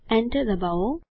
Enter ડબાઓ